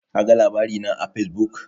Kaga labari na a Fesbuk?